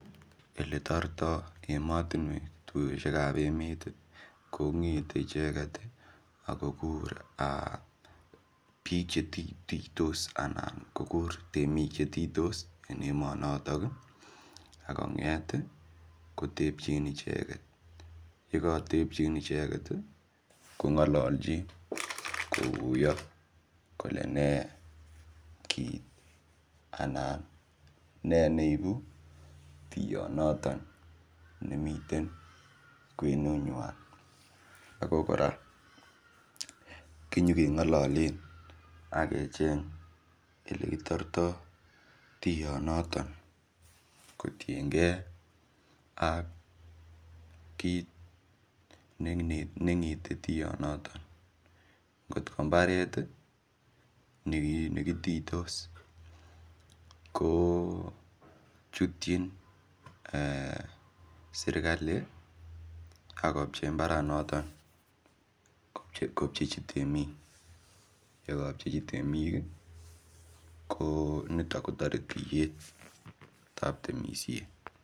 Ole toretoi emotunwek tuiyoshek ap emet ko ng'etei icheket akokur biik chetiytos anan ko kur temik chetiytos eng emonotok akonget kotepchin icheket yeka tepchin icheket kongololchin kokuyo kole nee kiit anan ne neibu tuyonoton nemiten kwenunywan ako kora kinyikengololen akecheny ele kitortoi tuyonoton kotienkei ak kiit neing'eti tuyonoton ngotko mbaret nekitiytos kochutchin sirkali akopchei mbaranoton kopchechi temik yekapchechi temik ko nito kotore tiyet ap temisiet.